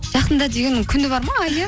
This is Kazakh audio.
жақында дегеннің күні бар ма айы